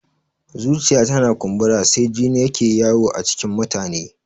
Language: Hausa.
Zuciya tana kumbura sai jini yake yawo a cikin mutane